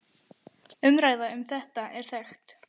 Umræða um þetta er þekkt.